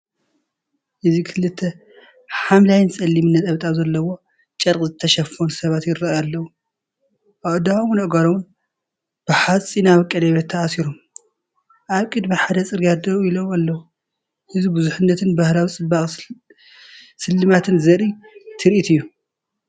እዚ ክልተ ብሐምላይን ጸሊምን ነጠብጣብ ዘለዎ ጨርቂ ዝተሸፈኑ ሰባት ይራኣይ ኣለው። ኣእዳዎምን ኣእጋሮምን ብሓጺናዊ ቀለቤት ተኣሲሮም፡ ኣብ ቅድሚ ሓደ ጽርግያ ደው ኢሎም ኣለው። እዚ ብዙሕነት ባህላዊ ጽባቐን ስልማትን ዘርኢ ትርኢት እዩ።